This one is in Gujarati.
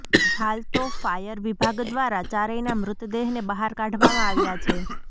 હાલ તો ફાયર વિભાગ દ્વારા ચારેયના મૃતદેહને બહાર કાઢવામાં આવ્યાં છે